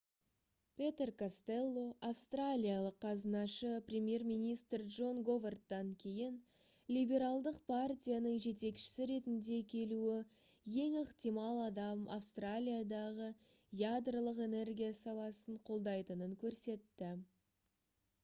петер костелло австралиялық қазынашы премьер-министр джон говардтан кейін либералдық партияның жетекшісі ретінде келуі ең ықтимал адам австралиядағы ядролық энергия саласын қолдайтынын көрсетті